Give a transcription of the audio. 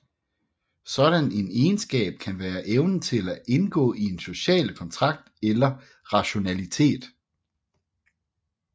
Sådan en egenskab kan være evnen til at indgå en social kontrakt eller rationalitet